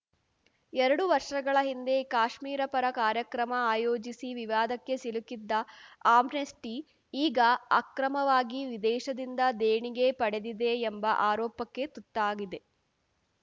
ಎರಡು ವರ್ಷಗಳ ಹಿಂದೆ ಕಾಶ್ಮೀರ ಪರ ಕಾರ್ಯಕ್ರಮ ಆಯೋಜಿಸಿ ವಿವಾದಕ್ಕೆ ಸಿಲುಕಿದ್ದ ಆಮ್ನೆಸ್ಟಿ ಈಗ ಅಕ್ರಮವಾಗಿ ವಿದೇಶದಿಂದ ದೇಣಿಗೆ ಪಡೆದಿದೆ ಎಂಬ ಆರೋಪಕ್ಕೆ ತುತ್ತಾಗಿದೆ